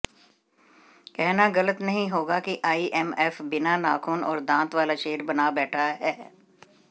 कहना गलत नहीं होगा कि आईएमएफ बिना नाखून और दांत वाला शेर बना बैठा है